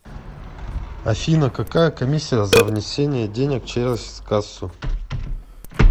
афина какая комиссия за внесение денег через кассу